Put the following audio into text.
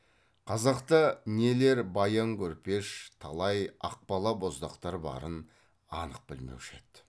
қазақта нелер баян көрпеш талай ақбала боздақтар барын анық білмеуші еді